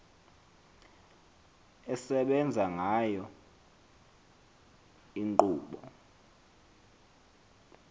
esebenza ngayo inkqubo